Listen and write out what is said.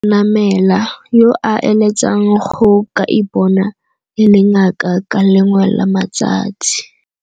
Senamela, yo a eletsang go ka ipona e le ngaka ka le lengwe la matsatsi.